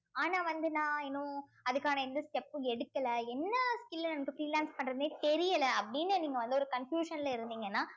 ஆனா வந்து நான் இன்னும் அதுக்கான எந்த step உம் எடுக்கல என்ன skill freelance பண்றதுன்னே தெரியல அப்படின்னு நீங்க வந்து ஒரு confusion ல இருந்தீங்கன்னா